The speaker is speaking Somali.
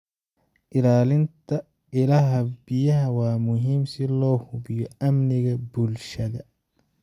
Ilaalinta ilaha biyaha waa muhiim si loo hubiyo amniga bulshada.